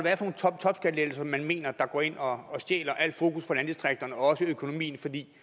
hvad det er for man mener der går ind og og stjæler al fokus fra landdistrikterne og også fra økonomien fordi